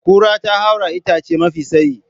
Kura ta haura itace mafi tsayi.